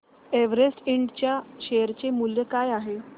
Everest Ind च्या share चे मूल्य काय आहे